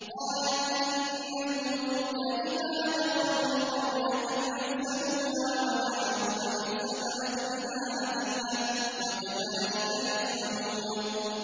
قَالَتْ إِنَّ الْمُلُوكَ إِذَا دَخَلُوا قَرْيَةً أَفْسَدُوهَا وَجَعَلُوا أَعِزَّةَ أَهْلِهَا أَذِلَّةً ۖ وَكَذَٰلِكَ يَفْعَلُونَ